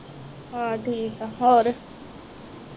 ਹਾਂ ਠੀਕ ਆ ਹੋਰ